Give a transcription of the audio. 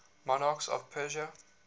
monarchs of persia